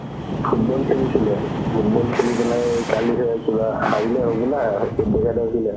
football খেলিছিলে football খেলি পেলাই কিবা লাগিলে হ'বলা